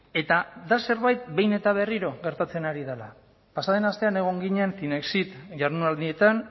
eta da zerbait behin eta berriro gertatzen ari dena pasa den astean egon ginen zinexit jardunaldietan